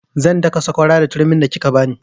Zan daka sakwara da turmin da kika bani